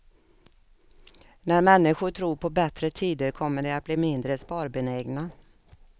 När människor tror på bättre tider kommer de att bli mindre sparbenägna.